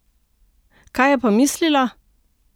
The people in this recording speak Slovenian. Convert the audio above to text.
Kaj je pa mislila?